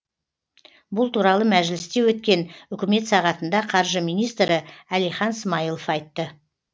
бұл туралы мәжілісте өткен үкімет сағатында қаржы министрі әлихан смайылов айтты